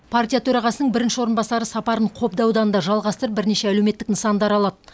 партия төрағасының бірінші орынбасары сапарын қобда ауданында жалғастырып бірнеше әлеуметтік нысанды аралады